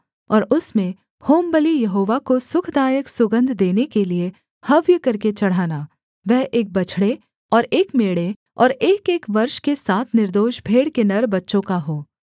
और उसमें होमबलि यहोवा को सुखदायक सुगन्ध देने के लिये हव्य करके चढ़ाना वह एक बछड़े और एक मेढ़े और एकएक वर्ष के सात निर्दोष भेड़ के नर बच्चों का हो